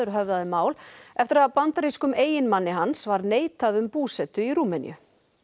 höfðaði mál eftir að bandarískum eiginmanni hans var neitað um búsetu í Rúmeníu